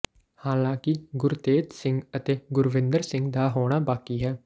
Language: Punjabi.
ਹਾਲਾਂਕਿ ਗੁਰਤੇਜ ਸਿੰਘ ਅਤੇ ਗੁਰਵਿੰਦਰ ਸਿੰਘ ਦਾ ਹੋਣਾ ਬਾਕੀ ਹੈ